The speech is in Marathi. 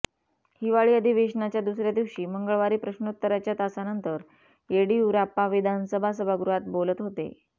हिवाळी अधिवेशनाच्या दुसर्या दिवशी मंगळवारी प्रश्नोत्तराच्या तासानंतर येडियुराप्पा विधानसभा सभागृहात बोलत होते